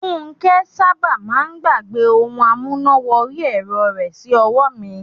Funke sábà máà ń gbàgbẹ́ ohun amúná wọrí ẹ̀rọ rẹ̀ sí ọwọ́ mi.